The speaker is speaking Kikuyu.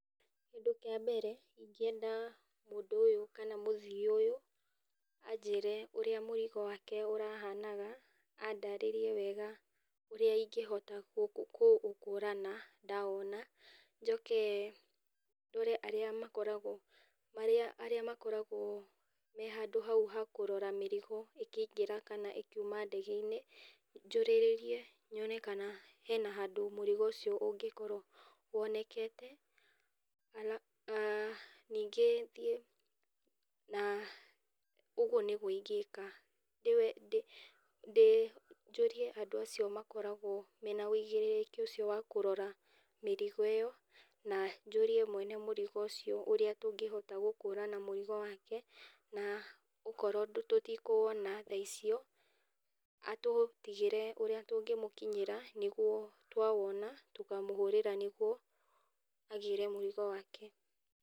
Kĩndũ kĩa mbere ingĩenda mũndũ ũyũ kana mũthii ũyũ anjĩre ũrĩa mũrigo wake ũrahanaga, andarĩrie wega ingĩhota kũũkũrana ndawona , njoke ndore me handũ andũ arĩa makoragwo hau ha kũrora mĩrigo ĩkiuma ndege-inĩ njũrĩrie menye kana he handũ mũrigo ũcio ũngĩkorwo wonekete, ningĩ thiĩ aah ũguo nĩguo ingĩka, njũrie andũ acio makoragwo mena wũigĩrĩrĩki wa kũrora mĩrigo na njũrie mwene mũrigo ũcio ũrĩa tũngĩhota gũkũrana mũrigo wake na okorwo tũtikũwona thaa icio atũtigĩre ũrĩa tũngĩmũkinyĩra nĩguo twawona tũkamũhũrĩra nĩguo agĩre mũrigo wake .